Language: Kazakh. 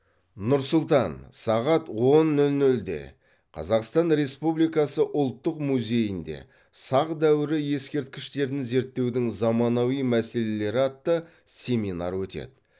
нұр сұлтан сағат он нөл нөлде қазақстан республикасы ұлттық музейінде сақ дәуірі ескерткіштерін зерттеудің заманауи мәселелері атты семинар өтеді